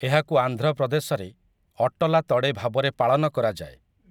ଏହାକୁ ଆନ୍ଧ୍ରପ୍ରଦେଶରେ ଅଟଲା ତଡେ ଭାବରେ ପାଳନ କରାଯାଏ ।